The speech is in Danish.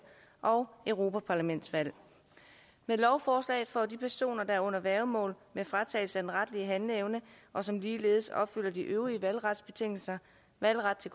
og europaparlamentsvalg med lovforslaget får de personer der er under værgemål med fratagelse af den retlige handleevne og som ligeledes opfylder de øvrige valgretsbetingelser valgret til